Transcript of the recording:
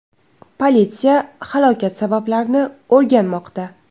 Politsiya halokat sabablarini o‘rganmoqda.